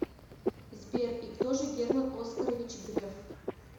сбер и кто же герман оскарович греф